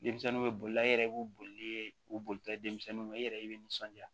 Denmisɛnninw bɛ bolila e yɛrɛ b'u boli u bolila denmisɛnniw ma i yɛrɛ i bɛ nisɔndiya